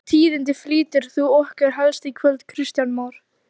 Edda Andrésdóttir: Hvaða tíðindi flytur þú okkur helst í kvöld Kristján Már?